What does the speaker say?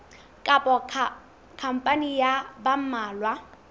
kapa khampani ya ba mmalwa